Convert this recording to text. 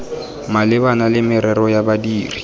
malebana le merero ya badiri